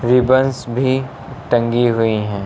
Ribbons भी टंगी हुई हैं।